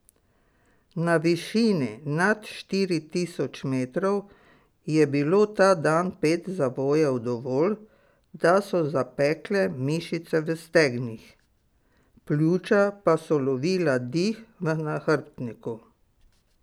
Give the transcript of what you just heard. Na višini nad štiri tisoč metrov je bilo ta dan pet zavojev dovolj, da so zapekle mišice v stegnih, pljuča pa so lovila dih v nahrbtniku.